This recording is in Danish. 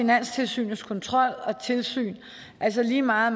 finanstilsynets kontrol og tilsyn altså lige meget